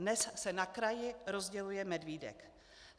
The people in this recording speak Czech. Dnes se na kraji rozděluje medvídek.